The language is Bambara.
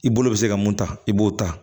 I bolo bɛ se ka mun ta i b'o ta